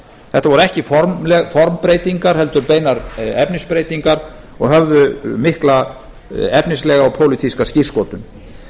þetta voru ekki formi formbreytingar heldur beinar efnisbreytingar og höfðu mikla efnislega og pólitíska skírskotun